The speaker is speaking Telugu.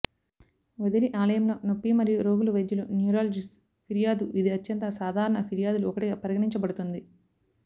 వదిలి ఆలయంలో నొప్పి మరియు రోగులు వైద్యులు న్యూరాలజిస్ట్స్ ఫిర్యాదు ఇది అత్యంత సాధారణ ఫిర్యాదులు ఒకటిగా పరిగణించబడుతుంది